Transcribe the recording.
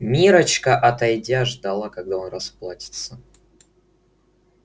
миррочка отойдя ждала когда он расплатится